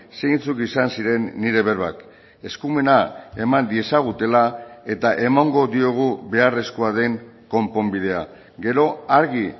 zeintzuk izan ziren nire berbak eskumena eman diezagutela eta emango diogu beharrezkoa den konponbidea gero argi